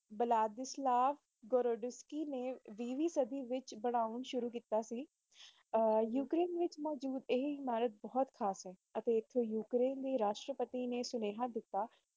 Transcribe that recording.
ਬਲਾਤਕਾਰ ਕਰਨ ਦੀ ਸਕੀਮ ਆਰ ਯੂ ਕੇ ਮੁਖ ਮੁੱਦੇ ਇਹ ਨਾਲ ਬਹੁਤ ਖਾਸ ਹੈ ਅਤੇ ਯੂਕਰੇਨੀ ਰਾਸ਼ਟਰਪਤੀ ਨੇ ਸੁਨੇਹਾ ਦਿੱਤਾ